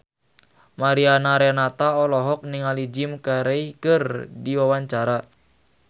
Mariana Renata olohok ningali Jim Carey keur diwawancara